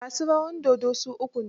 Masu rawar dodn su uku ne.